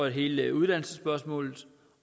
at hele uddannelsesspørgsmålet